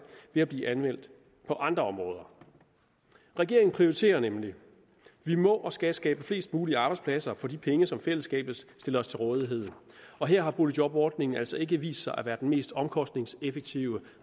ved at blive anvendt på andre områder regeringen prioriterer nemlig vi må og skal skabe flest mulige arbejdspladser for de penge som fællesskabet stiller til rådighed her har boligjobordningen altså ikke vist sig at være den mest omkostningseffektive